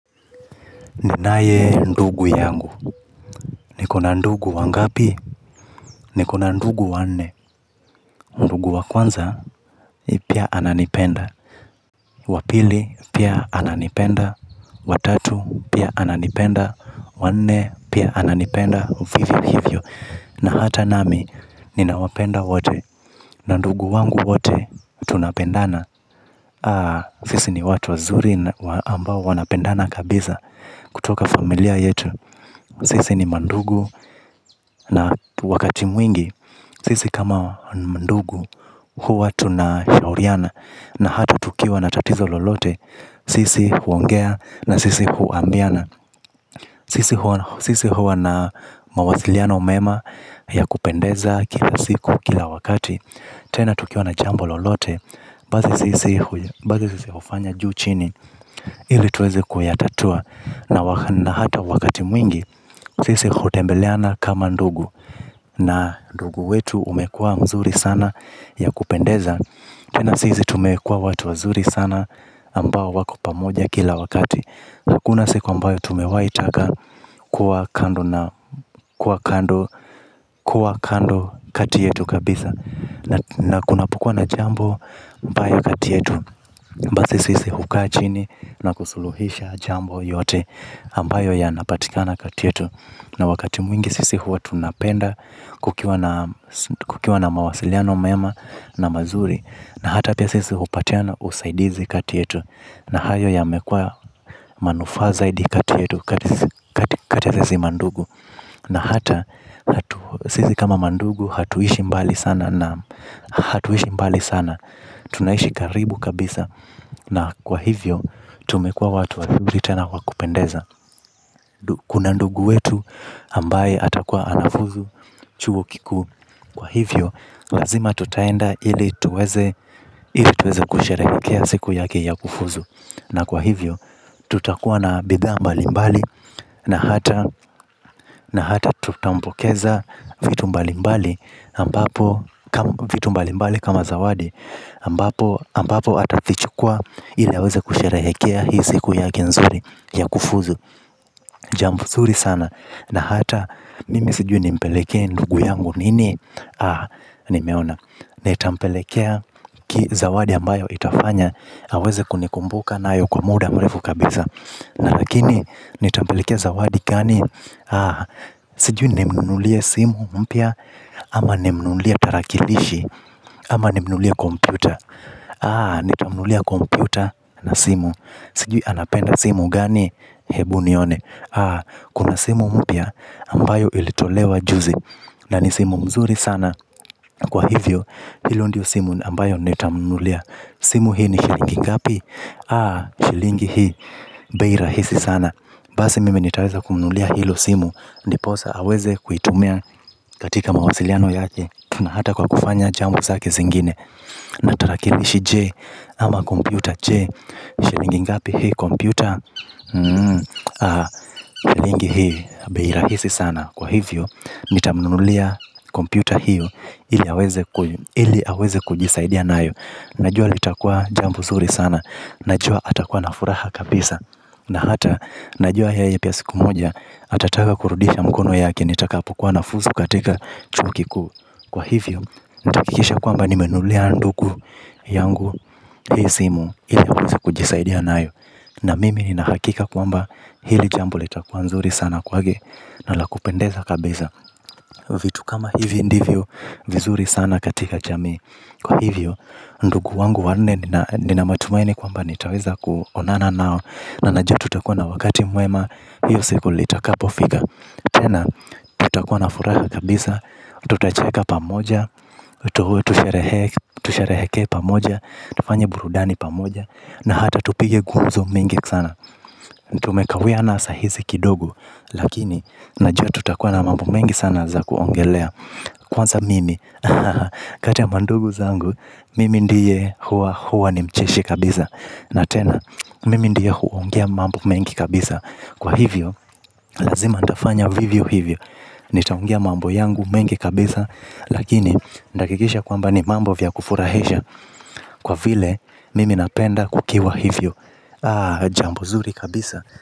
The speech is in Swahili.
Ninayendugu yangu. Niko na ndugu wangapi. Niko na ndugu wanne. Ndugu wa kwanza, pia ananipenda. Wapili, pia ananipenda. Watatu, pia ananipenda. Wanne, pia ananipenda. Vivyo hivyo. Na hata nami, ninawapenda wote. Na ndugu wangu wote, tunapendana. Sisi ni watu wazuri ambao wanapendana kabisa kutoka familia yetu. Sisi ni mandugu, na wakati mwingi, sisi kama mandugu, huwa tunashauriana, na hata tukiwa na tatizo lolote, sisi huongea, na sisi huambiana. Sisi huwa na mawasiliano mema ya kupendeza kila siku, kila wakati, tena tukiwa na jambo lolote, basi sisi hufanya juu chini, ili tuweze kuyatatua na hata wakati mwingi sisi hutembeleana kama ndugu na ndugu wetu umekuwa mzuri sana ya kupendeza tena sisi tumekuwa watu wazuri sana ambao wako pamoja kila wakati hakuna siku ambayo tumewaitaka kuwa kando kuwa kando kati yetu kabisa na kunapokuwa na jambo mbaya kati yetu basi sisi hukaa chini na kusuluhisha jambo yote ambayo yanapatikana kati yetu na wakati mwingi sisi huwa tunapenda kukiwa na kukiwa na mawasiliano mema na mazuri na hata pia sisi hupatiana usaidizi kati yetu na hayo yamekuwa manufaa zaidi kati yetu kati ya sisi mandugu na hata sisi kama mandugu hatuishi mbali sana na hatuishi mbali sana tunaishi karibu kabisa na kwa hivyo tumekuwa watu wazuri tena wakupendeza. Kuna ndugu wetu ambaye atakuwa anafuzu chuo kikuu. Kwa hivyo lazima tutaenda ili tuweze kusherehekea siku yake ya kufuzu. Na kwa hivyo tutakuwa na bidhaa mbalimbali na hata tutampokeza vitu mbalimbali ambapo vitu mbalimbali kama zawadi ambapo ambapo atavichukua ili aweze kusherehekea hii siku yake nzuri ya kufuzu. Jambo zuri sana. Na hata mimi sijui nimpelekee ndugu yangu nini. Aaa nimeona. Nitampelekea ki zawadi ambayo itafanya aweze kunikumbuka nayo kwa muda mrefu kabisa. Na lakini nitampelekea zawadi gani. Aaa sijui nimnunulie simu mpya. Ama nimnunulie tarakilishi. Ama nimnunulie kompyuta. Aaa nitamnunullia kompyuta na simu. Sijui anapenda simu gani. Hebu nione. Kuna simu mpya ambayo ilitolewa juzi. Na ni simu mzuri sana. Kwa hivyo hilo ndio simu ambayo nitamnunulia. Simu hii ni shilingi ngapi. Shilingi hii. Bei rahisi sana. Basi mimi nitaweza kumnunulia hilo simu. Ndiposa aweze kuitumia katika mawasiliano yake. Na hata kwa kufanya jambo zake zingine. Na tarakilishi Je. Ama kompyuta Je. Shilingi ngapi hii kompyuta. Lingi hii. Bei rahisi sana. Kwa hivyo. Nitamununulia Computer hiyo. Ili aweze kujisaidia nayo. Najua litakua jambo zuri sana. Najua atakuwa na furaha kabisa. Na hata najua yeye pia siku moja. Atataka kurudisha mkono yake. Nitakapokuwa nafuzu katika chuo kikuu. Kwa hivyo. Nitahakikisha kwamba nimenunulia ndugu Yangu. Hii simu. Ili aweze kujisaidia nayo. Na mimi ninahakika kwamba hili jambo litakuwa nzuri sana kwage. Na la kupendeza kabisa vitu kama hivi ndivyo vizuri sana katika jamii kwa hivyo ndugu wangu wanne ninamatumaini kwamba nitaweza kuonana nao na najua tutakuwa na wakati mwema hiyo siku litakapofika tena tutakuwa na furaha kabisa tutacheka pamoja tushereheke pamoja tufanye burudani pamoja na hata tupige gumzo sana. Tumekawiana saa hizi kidogo. Lakini, najua tutakuwa na mambo mengi sana za kuongelea. Kwanza mimi, kati ya mandugu zangu. Mimi ndiye huwa huwa ni mcheshi kabisa. Na tena, mimi ndiye huongea mambo mengi kabisa. Kwa hivyo, lazima nitafanya vivyo hivyo. Nitaongea mambo yangu mengi kabisa. Lakini, nitahakikisha kwamba ni mambo vya kufurahisha. Kwa vile, mimi napenda kukiwa hivyo Aaaa, jambo zuri, kabisa.